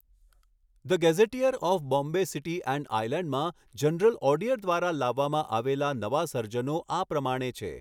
the gazetteer of Bombay city and આઈલૅન્ડમાં general ઑડીયર દ્વારા લાવવામાં આવેલા નવા સર્જનો આ પ્રમાણે છે